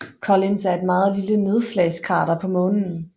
Collins er et meget lille nedslagskrater på Månen